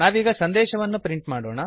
ನಾವೀಗ ಸಂದೇಶವನ್ನು ಪ್ರಿಂಟ್ ಮಾಡೋಣ